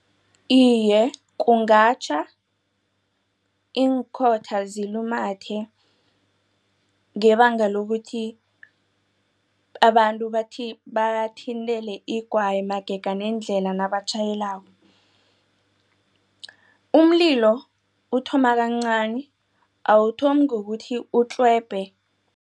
Iye, kungatjha iinkhotha zilumathe ngebanga lokuthi abantu bathi bathintele igwayi magega nendlela nabatjhayelako umlilo uthoma kancani awuthomi ngokuthi utlhwebhe.